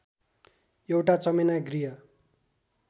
एउटा चमेना गृह